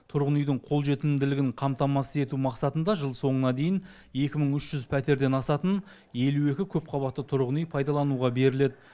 тұрғын үйдің қолжетімділігін қамтамасыз ету мақсатында жыл соңына дейін екі мың үш жүз пәтерден асатын елу екі көпқабатты тұрғын үй пайдалануға беріледі